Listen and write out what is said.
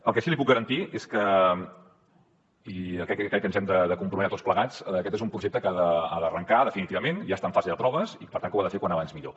el que sí que li puc garantir és que i jo crec que ens hi hem de comprometre tots plegats aquest és un projecte que ha d’arrencar definitivament ja està en fase de proves i que per tant ho ha de fer com més aviat millor